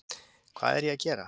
Hvað er ég að gera?